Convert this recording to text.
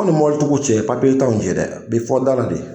anw ni mobilitigiw cɛ papiye t'anw cɛ dɛ a bɛ fɔ da la de